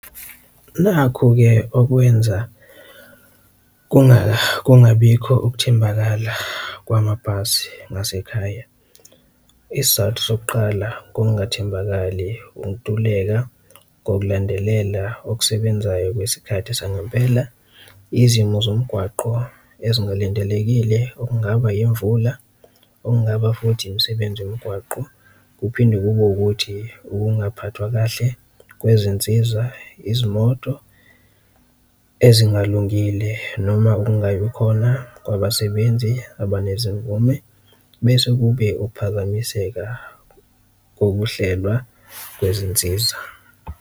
Nakhu-ke okwenza kungabikho ukuthembakala kwamabhasi ngasekhaya, isizathu sokuqala ungathembakali, ukuntuleka kokulandelela okusebenzayo kwesikhathi sangempela, izimo zomgwaqo ezingalindelekile okungaba imvula, okungaba futhi imisebenzi yomgwaqo. Kuphinde kube ukuthi ukungaphathwa kahle kwezinsiza, izimoto ezingalungile noma ukungabi khona kwabasebenzi abanezimvume, bese kube ukuphazamiseka kokuhlelwa kwezinsiza.